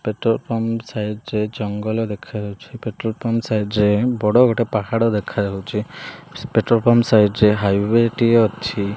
Petrol pump side ରେ ଜଙ୍ଗଲ ଦେଖାଯାଉଚି ପେଟ୍ରୋଲ ପମ୍ପ ସାଇଟ୍ ରେ ବଡ ଗୋଟେ ପାହାଡ଼ ଦେଖାଯାଉଚି ପେଟ୍ରୋଲ ପମ୍ପ ସାଇଟ୍ ରେ ହାଇୱେ ଟି ଅଛି।